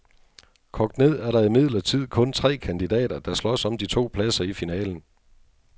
Kogt ned er der imidlertid kun tre kandidater, der slås om de to pladser i finalen.